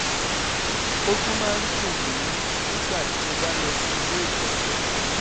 ó tún máa ń dùn mí nígbà tí mo bá lọ sí ilé ìgbọ̀nsẹ̀